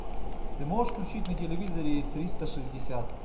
ты можешь включить на телевизоре триста шестьдесят